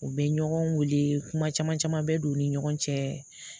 U bɛ ɲɔgɔn wele kuma caman caman bɛ don u ni ɲɔgɔn cɛ